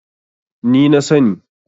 ni na sani